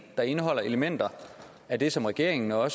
der indeholder elementer af det som regeringen og